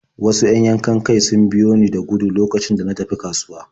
Wasu 'yan yankan-kai sun biyo ni da gudu lokacin da na tafi kasuwa.